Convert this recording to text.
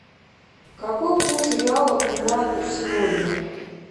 какой курс реала к юаню сегодня